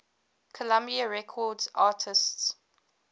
columbia records artists